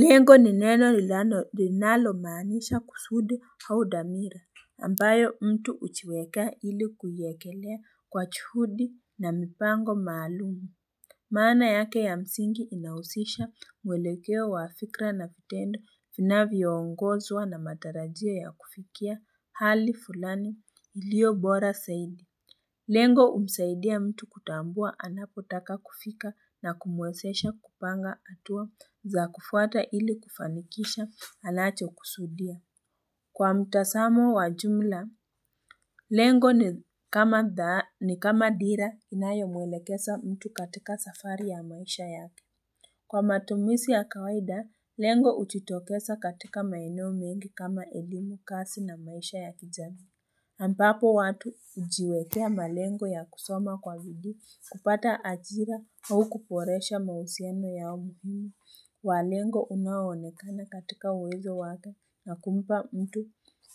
Lengo ni neno linalo maanisha kusudi au dhamira ambayo mtu ujiweke ili kuiekelea kwa juhudi na mipango maalumu Mana yake ya msingi inahusisha muelekeo wa fikra na vitendo vinavyoongozwa na matarajia ya kufikia hali fulani iliyo bora zaidi Lengo humsaidia mtu kutambua anapotaka kufika na kumuwezesha kupanga hatua za kufuata ili kufanikisha anacho kusudia. Kwa mtasamo wa jumla, lengo ni kama dira inayomulekeza mtu katika safari ya maisha yake. Kwa matumizi ya kawaida, lengo hujitokeza katika maeneo mengi kama elimu, kazi na maisha ya kijana ambapo watu ujiwekea malengo ya kusoma kwa bidii kupata ajira au kuboresha mahusiano yao muhimu wa lengo unaonekana katika uwezo wake na kumpa mtu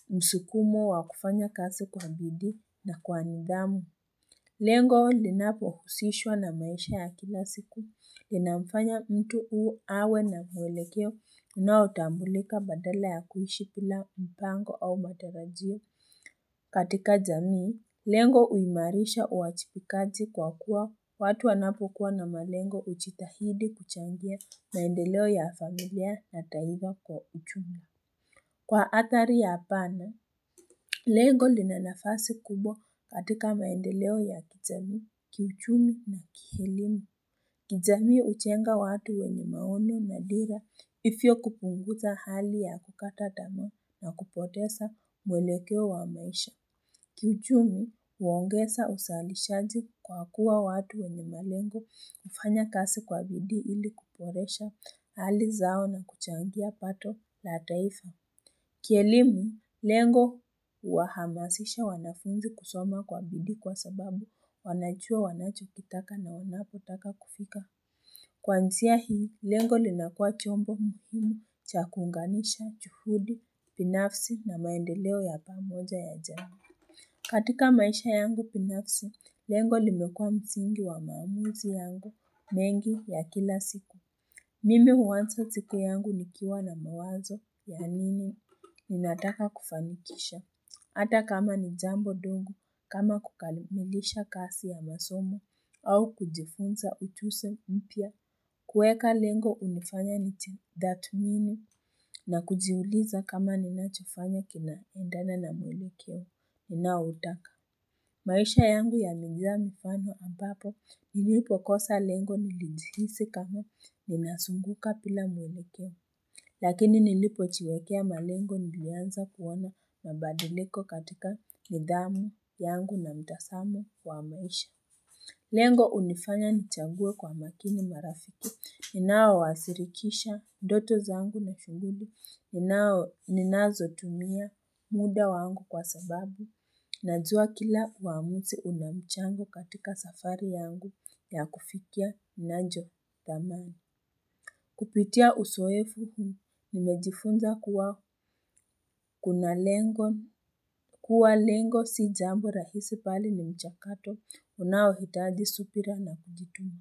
msukumo wa kufanya kazi kwa bidii na kwa nidhamu. Lengo linapo husishwa na maisha ya kila siku. Lina mfanya mtu awe na mueleke unaotambulika badala ya kuishi bila mpango au matarajio. Katika jamii, lengo uimarisha uwajibikaji kwa kuwa watu wanapokuwa na malengo ujitahidi kuchangia maendeleo ya familia na taifa kwa ujumla. Kwa athari ya hapana, lengo lina nafasi kubwa katika maendeleo ya kijamii, kichumi na kielimu. Kijami ujenga watu wenye maono na dira hivyo kupunguza hali ya kukata tamaa na kupoteza muelekeo wa maisha. Kichumi huongeza uzalishaji kwa kuwa watu wenye malengo hufanya kazi kwa bidii ili kuboresha hali zao na kuchangia pato la taifa. Kielimu lengo huwahamasisha wanafunzi kusoma kwa bidii kwa sababu wanajuaa wanachokitaka na wanapo taka kupifa. Kwanzia hii, lengo linakua chombo muhimu chakunganisha, chufudi, pinafsi na maendeleo ya pamoja ya jambu. Katika maisha yangu binafsi, lengo limekua msingi wa maamuzi yangu mengi ya kila siku. Mimi huwanza siku yangu nikiwa na mawazo ya nini minataka kufanikisha. Hata kama ni jambo doga, kama kukalimilisha kazi ya masomo, au kujifunza ujunzi mpya kuweka lengo hunifanya nijitathimimi, na kujiuliza kama ninachofanya kina endana na muelekeo ninautaka maisha yangu yalijaa mifano ambapo nilipo kosa lengo nilijhisi kama ninazunguka bila muelekeo. Lakini nilipo nilipojiwekea malengo nilianza kuona mabadiliko katika nidhamu yangu na mtazamo wa maisha. Lengo unifanya nichague kwa makini marafiki. Ninao washirikisha ndoto zangu na shughuli. Ninazotumia muda wangu kwa sababu. Najuwa kila uamuzi unamchango katika safari yangu ya kufikia ninachotamani Kupitia uzoefu, nimejifunza kuwa lengo si jambu rahisi bali ni mchakato unaohitaji subira na kujituma.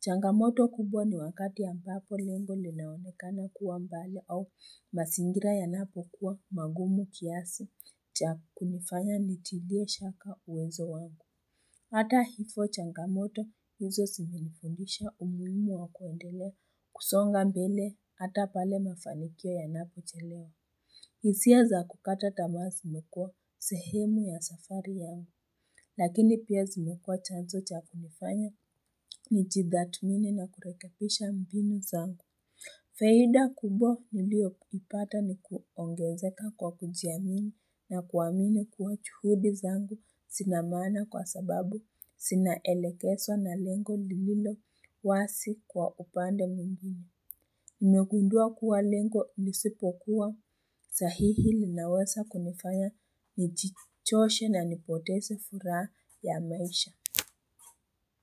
Changamoto kubwa ni wakati ambapo lengo linaonekana kuwa mbali au mazingira yanapo kuwa magumu kiasi. Cha kunifanya nitilie shaka uwezo wangu. Hata hivyo changamoto hizo zimenifundisha umuhimu wa kuendele kusonga mbele hata pale mafanikia yanapochelewa. Hisia za kukata tamaa zimekua sehemu ya safari ya yangu. Lakini pia zimekua chanzo cha kunifanya nijitathmini na kurekebisha mbinu zangu. Faida kubwa nilioipata ni kuongezeka kwa kujiamini na kuamini kuwa juhudi zangu zinamaana kwa sababu zinaelekezwa na lengo lililo wazi kwa upande mwingine. Nimegundua kuwa lengo lisipokuwa a sahihi linawesa kunifanya njichoshe na nipoteze furaha ya maisha.